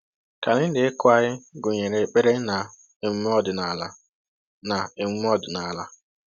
Kalenda ịkụ anyị gụnyere ekpere na emume ọdịnala. na emume ọdịnala.